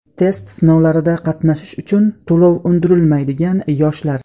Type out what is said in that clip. Test sinovlarida qatnashish uchun to‘lov undirilmaydigan yoshlar.